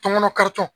Tɔmɔnɔ karitɔ